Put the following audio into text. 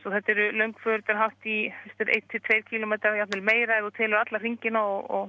þetta eru löng för hátt í einn til tveir kílómetrar jafnvel meira ef þú telur alla hringina og